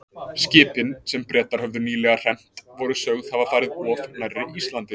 Skipin, sem Bretar höfðu nýlega hremmt, voru sögð hafa farið of nærri Íslandi.